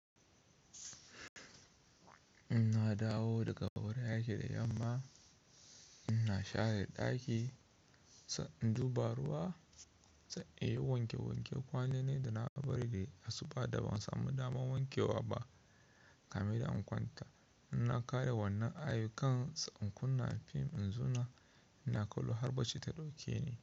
In na dawo daga wurin aiki da yamma, ina share ɗaki, sai in ɗiba ruwa, sai in yi wanke wanke kwanonin da na bari dai asuba da ban samu dama wankewa ba. Kamin in kwanta, ina ƙare wannan ayukan sannan in kunna film in zuna ina kallo har bacci ta ɗauke ni.